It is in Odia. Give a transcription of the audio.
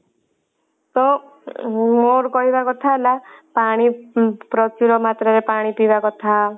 ତ ମୋର କହିବା କଥା ହେଲା ପାଣି ଉଁ ପ୍ରଚୁର ମାତ୍ରା ରେ ପାଣି ପିଇବା କଥା